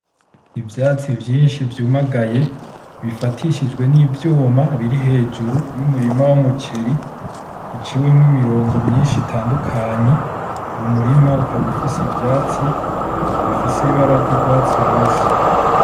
Ivyatsi vyinshi vyumagaye bifatishijwe n'ivyuma biri hejuru y'umurima w'umuceri biciwemo imirongo myinshi itandukanye uwo murima ukaba ufise ivyatsi bifise ibara ryugwatsi rubisi.